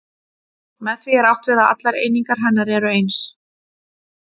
Með því er átt við að allar einingar hennar eru eins.